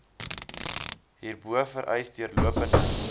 hierbo vereis deurlopende